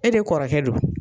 E de kɔrɔkɛ do.